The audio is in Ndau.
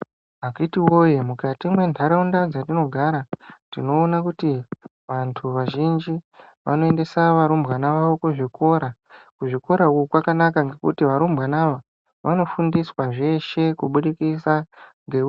Akiti woye mukati mwentarawunda dzatinogara, tinowona kuti vantu vazhinji vanoendesa varumbwana wawo kuzvikora. Kuzvikora uku kwakanaka ngekuti varumbwana ava, vanofundiswa zveshe kubudikisa ngeu